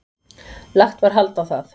Lagt var hald á það.